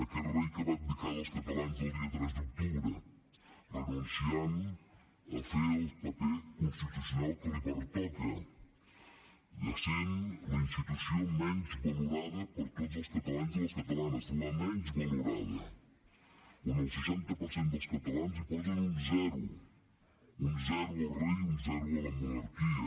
aquest rei que va abdicar dels catalans el dia tres d’octubre renunciant a fer el paper constitucional que li pertoca i essent la institució menys valorada per tots els catalans i les catalanes la menys valorada on el seixanta per cent dels catalans hi posen un zero un zero al rei i un zero a la monarquia